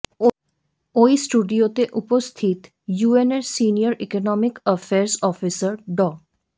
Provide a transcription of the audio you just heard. ওই স্টুডিওতে উপস্থিত ইউএনের সিনিয়র ইকোনমিক অ্যাফেয়ার্স অফিসার ড